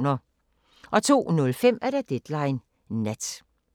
02:05: Deadline Nat